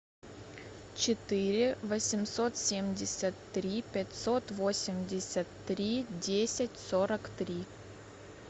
четыре восемьсот семьдесят три пятьсот восемьдесят три десять сорок три